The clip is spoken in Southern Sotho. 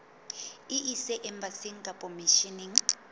e ise embasing kapa misheneng